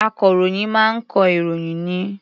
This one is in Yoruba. Akọ̀ròyìn máa ń kọ ìròyìn ni.